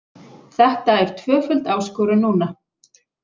Þetta er tvöföld áskorun núna.